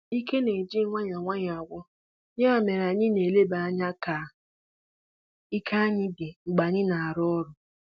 Ike na-eji nwayọọ nwayọọ agwụ, ya mere anyị na-eleba anya ka ike anyị dị mgbe anyị na-arụ ọrụ.